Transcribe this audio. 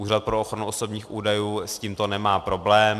Úřad pro ochranu osobních údajů s tímto nemá problém.